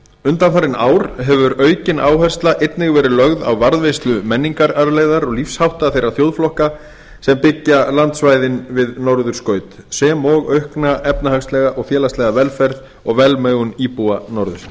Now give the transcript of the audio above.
undanfarin ár hefur aukin áhersla einnig verið lögð á varðveislu menningararfleifðar og lífshátta þeirra þjóðflokka sem byggja landsvæðin við norðurskaut sem og aukna og efnahagslega félagslega velferð og velmegun íbúa norðursins